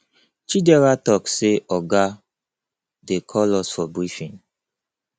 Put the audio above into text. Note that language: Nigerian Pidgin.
chidera talk say oga dey call us for briefing